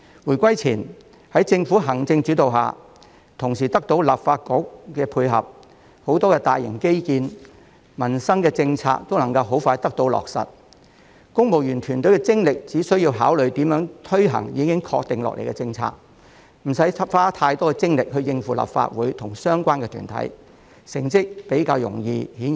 回歸前，在政府行政主導下，同時得到立法局配合，眾多大型基建項目及民生政策皆能快速得到落實，公務員團隊只需集中精力考慮如何推行已確定的政策，無需花太多精力應付立法局及相關團體，成績顯而易見。